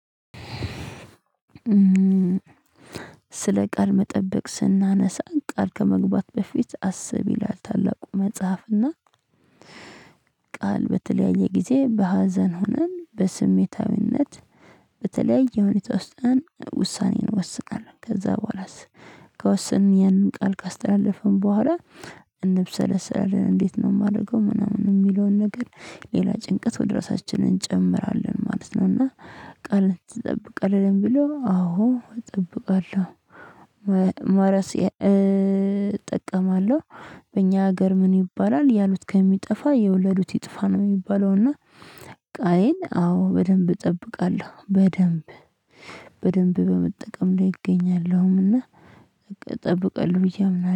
ስለ ቃል መጠበቅ ስናነሳ ቃል ከመግባት በፊት አስብ ይላል ታላቁ መጽሐፍና ቃል በተለያየ ጊዜ በሀዘን ሆነን በስሜታዊነት በተለያየ ሁኔታ ውስጥ ሆነን ውሳኔን እንወስናለን ከዛ በኋላስ ከወሰን የንን ቃል ካስተላለፍን በኋላ እንብሰለሰለን እንዴት ነው የማደርገው ምናምን የሚለውን ነገር ሌላ ጭንቀት ወደ ራሳችን እንጨምራለን ማለት ነው። እና ቃል ትጠብቃለህ ለሚለው ብሎ አዎ እጠብቃለሁ። መረስ እጠቀማለሁ። በእኛ ሀገር ምን ይባላል ያሉት ከሚጠፋ የወለዱት ይጥፋ ነው የሚባለው። እና ቃሌን አዎ በደንብ እጠብቃለሁ። በደንብ በደንብ በመጠቀም ላይ እገኛለሁም። እና ጠብቃለሁ ብዬ አምናለሁ